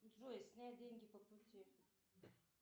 джой снять деньги по пути